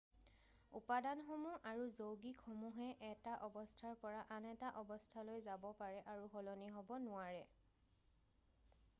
উপাদানসমূহ আৰু যৌগিকসমূহে এটা অৱস্থাৰ পৰা আন এটা অৱস্থালৈ যাব পাৰে আৰু সলনি হ'ব নোৱাৰে